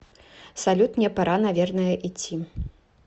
салют мне пора наверное идти